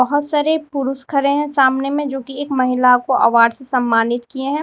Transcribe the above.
बहुत सारे पुरुष खड़े हैं सामने में जो की एक महिला को अवार्ड से सम्मानित किए हैं।